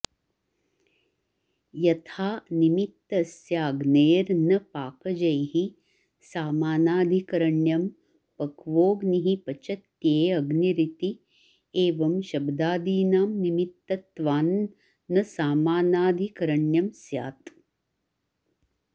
यथा निमित्तस्याग्नेर्न पाकजैः सामानाधिकरण्यं पक्वोऽग्निः पच्यतेऽग्निरिति एवं शब्दादीनां निमित्तत्वान्न सामानाधिकरण्यं स्यात्